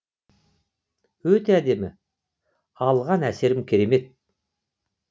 өте әдемі алған әсерім керемет